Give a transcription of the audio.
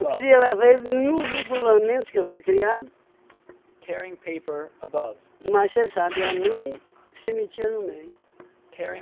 queria levar ele no regulamento que eu fui criado, mas você sabe, a mãe se metia no meio, né?